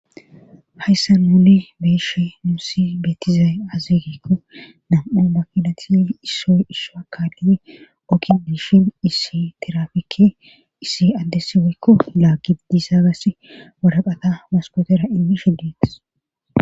hayssan nuni beyeshe nuusi beetizaay azeegekko nam7u makilati issoy isha kaalile oki dishin issi tirafikke issi addessiweykko laagi disaagas waraqata waskotera inmishe detes